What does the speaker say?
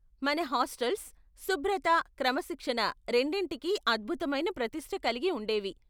మన హాస్టల్స్ శుభ్రత, క్రమశిక్షణ రెండిటికీ అద్భుతమైన ప్రతిష్ఠ కలిగి ఉండేవి.